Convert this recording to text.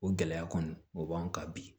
O gɛlɛya kɔni o b'an kan bi